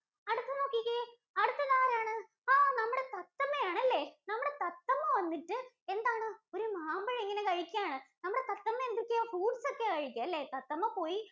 അടുത്ത നോക്കിക്കേ. അടുത്ത് ആരാണ്? ആ നമ്മുടെ തത്തമ്മ ആണ് അല്ലേ? നമ്മുടെ തത്തമ്മ വന്നിട്ട് എന്താണ് ഒരു മാമ്പഴം ഇങ്ങനെ കഴിക്കയാണ്. നമ്മുടെ തത്തമ്മ എന്തൊക്കെയാ fruits ഒക്കെയാ കഴിക്കുക അല്ലേ? തത്തമ്മ പോയി